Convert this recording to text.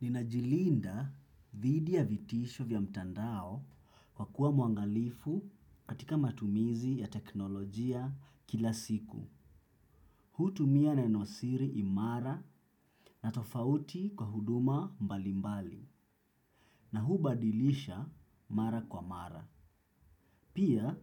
Ninajilinda dhidi ya vitisho vya mtandao kwa kuwa mwangalifu katika matumizi ya teknolojia kila siku. Hutumia nenosiri imara na tofauti kwa huduma mbalimbali na hubadilisha mara kwa mara. Pia